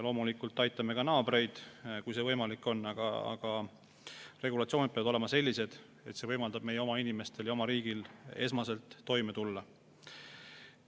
Loomulikult aitame ka naabreid, kui see võimalik on, aga regulatsioonid peavad olema sellised, et see võimaldab eelkõige meie oma inimestel ja oma riigil toime tulla.